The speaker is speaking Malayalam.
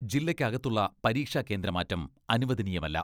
ജില്ലക്ക് അകത്തുള്ള പരീക്ഷാകേന്ദ്രമാറ്റം അനുവദനീയമല്ല.